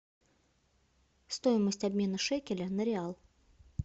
стоимость обмена шекеля на реал